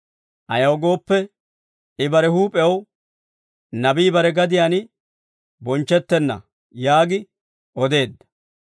Ayaw gooppe, I bare huup'ew, «Nabii bare gadiyaan bonchchettenna» yaagi odeedda.